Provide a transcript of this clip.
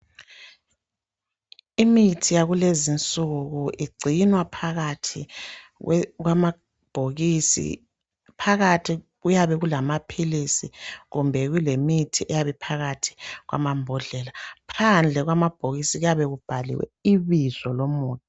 Imithi yakulezinsuku igcinwa phakathi kwamabhokisi. Phakathi kuyabe kulamaphilisi kumbe kulemithi eyabe iphakathi kwamambodlela. Phandle kwamabhokisi kuyabe kubhaliwe ibizo lomuthi.